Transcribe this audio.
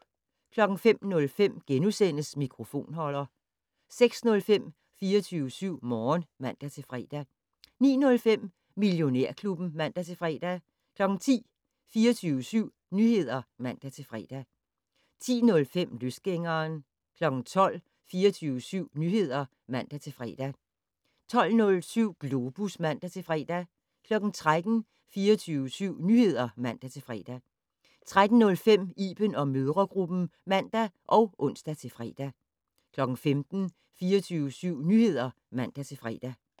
05:05: Mikrofonholder * 06:05: 24syv Morgen (man-fre) 09:05: Millionærklubben (man-fre) 10:00: 24syv Nyheder (man-fre) 10:05: Løsgængeren 12:00: 24syv Nyheder (man-fre) 12:07: Globus (man-fre) 13:00: 24syv Nyheder (man-fre) 13:05: Iben & mødregruppen (man og ons-fre) 15:00: 24syv Nyheder (man-fre)